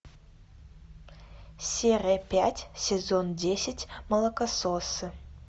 серия пять сезон десять молокососы